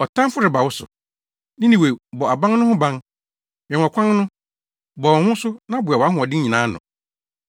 Ɔtamfo reba wo so, Ninewe bɔ aban no ho ban, wɛn ɔkwan no, bɔ wo ho so na boa wʼahoɔden nyinaa ano!